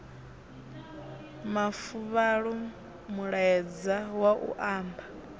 mafuvhalo mulaedza wa u amba